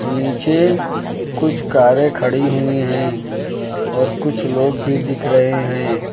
नीचे कुछ कारे खड़ी हुई हैं और कुछ लोग भी दिख रहे हैं।